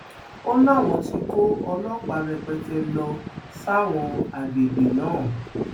ó láwọn tí kó ọlọpàá rẹpẹtẹ lọ sáwọn àgbègbè náà